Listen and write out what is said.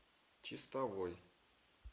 чистовой